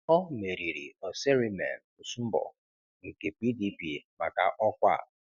Ọ meriri Oserheimen Osunbor nke PDP maka ọkwa a.